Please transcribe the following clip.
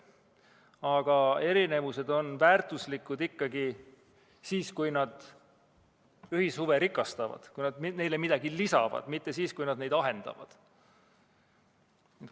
Aga erinevused on väärtuslikud ikkagi siis, kui nad ühishuve rikastavad, neile midagi lisavad, mitte siis, kui nad neid ahendavad.